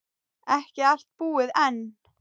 Ekki allt búið enn.